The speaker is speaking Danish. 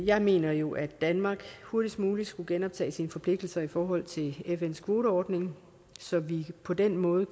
jeg mener jo at danmark hurtigst muligt skulle genoptage sine forpligtelser i forhold til fns kvoteordning så vi på den måde